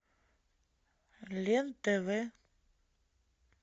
лен тв